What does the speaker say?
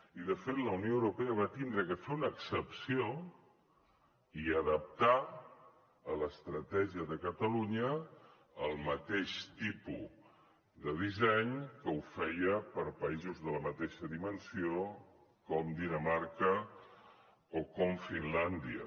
i de fet la unió europea va haver de fer una excepció i adaptar a l’estratègia de catalunya el mateix tipus de disseny que feia per a països de la mateixa dimensió com dinamarca o com finlàndia